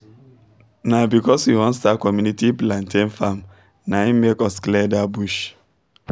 na because we won start community plantian farm na hin make us clear that bush